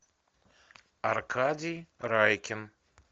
аркадий райкин